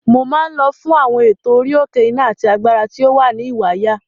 Mo máa ń lọ fún àwọn ètò orí-òkè iná àti agbára tí ó wà ní Ìwàyà.